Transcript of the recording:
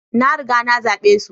na riga nazabe su